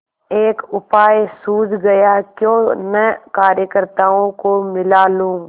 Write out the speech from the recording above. एक उपाय सूझ गयाक्यों न कार्यकर्त्ताओं को मिला लूँ